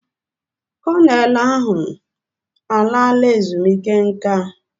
Kọnel ahụ alaala ezumike nka.